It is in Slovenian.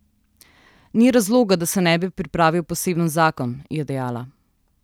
Ni razloga, da se ne bi pripravil poseben zakon, je dejala.